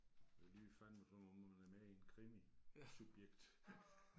Det lyder fandeme som om man er med i en krimi. Subjekt